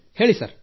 ಹೇಳಿ ಸರ್